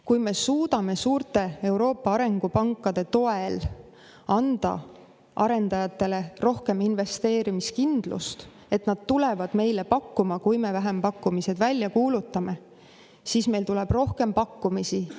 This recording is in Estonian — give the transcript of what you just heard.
Kui me suudame suurte Euroopa arengupankade toel anda arendajatele rohkem investeerimiskindlust, et nad tulevad meile pakkuma, kui me vähempakkumised välja kuulutame, siis meile tuleb rohkem pakkumisi.